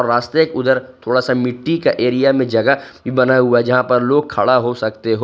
रास्ते के उधर थोड़ा सा मिट्टी का एरिया में जगह बना हुआ जहां पर लोग खड़ा हो सकते हो।